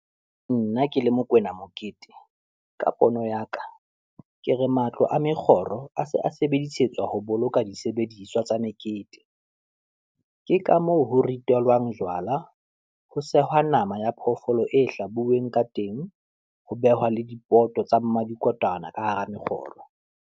Nna ke le Mokoena Mokete, ka pono ya ka, ke re matlo a mekgoro a se a sebedisetswa ho boloka disebediswa tsa mekete. Ke ka moo ho ritelwang jwala, ho sehwa nama ya phoofolo e hlabuweng ka teng, ho behwa le dipoto tsa Mmadikotwana ka hara mekgoro.